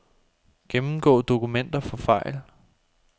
Gennemgå dokumenter for fejl.